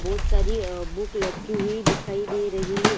बहुत सारी आ बुक लटकी हुई दिखाई दे रही है।